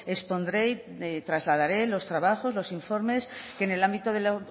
expondré y trasladaré los trabajos los informes que en el ámbito de la